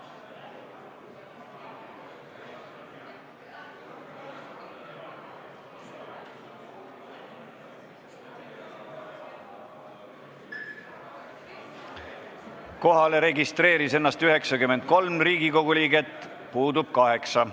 Kohaloleku kontroll Kohalolijaks registreeris ennast 93 Riigikogu liiget, puudub 8.